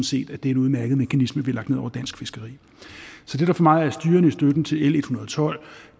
set at det er en udmærket mekanisme vi har lagt ned over dansk fiskeri så det der for mig er styrende i støtten til l en hundrede og tolv